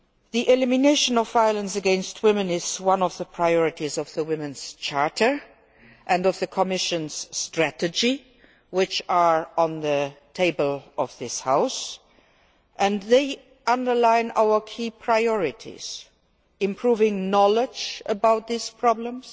The elimination of violence against women is one of the priorities of the Women's Charter and of the Commission's strategy which are on the table in this House. They underline our key priorities improving knowledge about these problems,